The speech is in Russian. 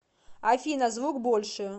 афина звук больше